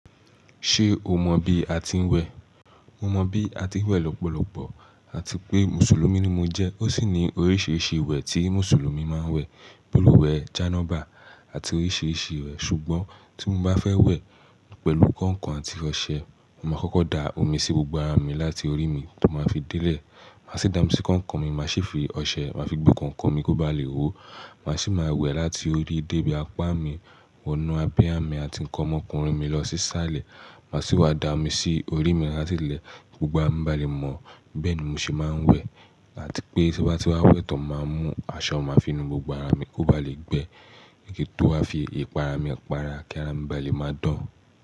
Ṣé o mọ bí a ti ń wẹ̀? Mo mọ bí a ti ń wẹ̀ lọ́pọ̀lọpọ̀ àti pé Mùsùlùmí ni mo jẹ́. Ó sì ní oríṣiríṣi ìwẹ̀ tí Mùsùlùmí máa ń wẹ̀. Pẹ̀lú ìwẹ̀ janọba àti oríṣiríṣi ìwẹ̀. Ṣùgbọ́n tí mo bá fẹ́ wẹ̀ pẹ̀lú kànkàn àti ọṣẹ, màá kọ́kọ́ da omi sí gbogbo ara mi láti orí mi tó máa fi délẹ̀. Màá sì dá omí sí kànkàn mi, màá sì fi ọṣẹ màá fi gbo kànkàn mi kó bá lè hó. Màá sì máa wẹ̀ láti orí débi apá mi, wọnú abúyá mi àti ǹkan ọmọkùnrin mi lọ sí sálẹ̀. Màá sì wá da omi sí orí mi láti ilẹ̀ gbogbo. A ara mi bá le mọ̀. Bẹ́ẹ̀ ni mo sì máa ń wẹ̀ àti pé tí wá ti wá wẹ̀ tán, màá mú aṣọ màá fi nu gbogbo ara mi kó bá lè gbẹ ní kí tó wá fi ìpara mi para kí ara mi bá le máa dán.